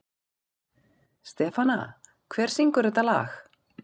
Stefana, hver syngur þetta lag?